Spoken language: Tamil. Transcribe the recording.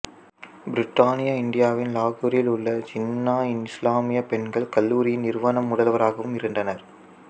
பிரித்தானிய இந்தியாவின் லாகூரில் உள்ள ஜின்னா இஸ்லாமியா பெண்கள் கல்லூரியின் நிறுவனர்முதல்வராகவும் இருந்தார்